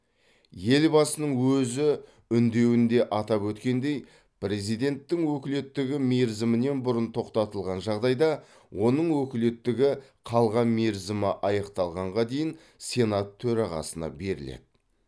елбасының өзі үндеуінде атап өткендей президенттің өкілеттігі мерзімінен бұрын тоқтатылған жағдайда оның өкілеттігі қалған мерзімі аяқталғанға дейін сенат төрағасына беріледі